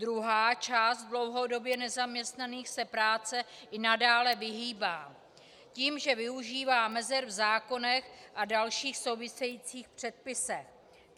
Druhá část dlouhodobě nezaměstnaných se práci i nadále vyhýbá tím, že využívá mezer v zákonech a dalších souvisejících předpisech.